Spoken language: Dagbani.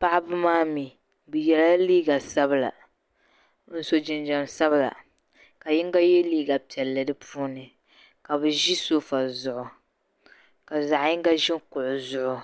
paɣ'ba maa mi bɛ yɛla liiga sabila ka su'jinjɛm sabila ka yinga ye liiga piɛlli di puuni ka bɛ ʒi so fo zuɣu ka zaɣ'yinga kuɣi zuɣu.